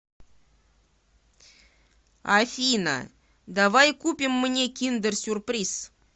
афина давай купим мне киндер сюрприз